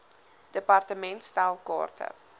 department stel kaarte